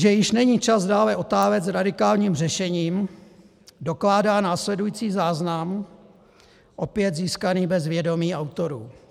Že již není čas dále otálet s radikálním řešením, dokládá následující záznam, opět získaný bez vědomí autorů.